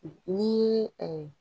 N'i ye